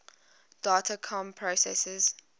data comm processors